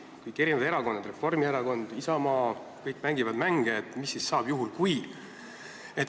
Kõik erakonnad, Reformierakond, Isamaa jt, mängivad mänge, et mis siis saab, juhul kui ...